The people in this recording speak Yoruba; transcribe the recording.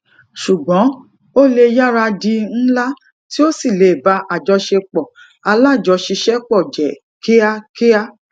ṣùgbón ó lè yára di ńlá tí ó sì lè bá àjọṣepọ alájọṣiṣẹpọ jẹ kíá kíá